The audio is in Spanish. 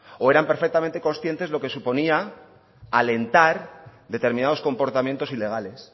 o eran perfectamente conscientes lo que suponía alentar determinados comportamientos ilegales